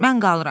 Mən qalıram.